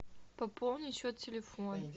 пополни счет телефона